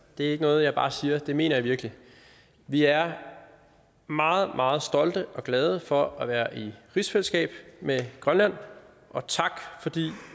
det er ikke noget jeg bare siger det mener jeg virkelig vi er meget meget stolte af og glade for at være i rigsfællesskab med grønland og tak fordi